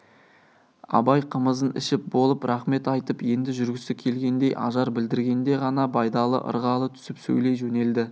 абай қымызын ішіп болып рақмет айтып енді жүргісі келгендей ажар білдіргенде ғана байдалы ырғала түсіп сөйлей жөнелді